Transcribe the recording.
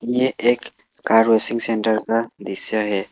ये एक car washing centre का दृश्य है।